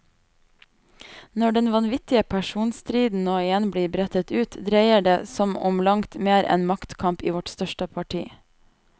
Når den vanvittige personstriden nå igjen blir brettet ut, dreier det som om langt mer enn maktkamp i vårt største parti.